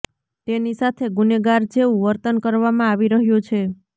તેની સાથે ગુનેગાર જેવું વર્તન કરવામાં આવી રહ્યું છે